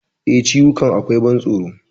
E, ciwukan akwai ban tsoro.